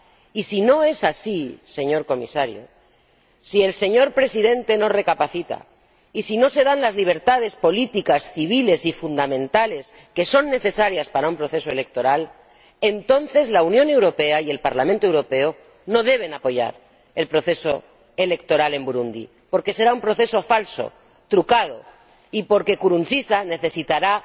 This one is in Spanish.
Y si no es así, señor Comisario, si el señor Presidente no recapacita y si no se dan las libertades políticas, civiles y fundamentales que son necesarias para un proceso electoral, entonces la Unión Europea y el Parlamento Europeo no deben apoyar el proceso electoral en Burundi, porque será un proceso falso, trucado, y porque Nkurunziza necesitará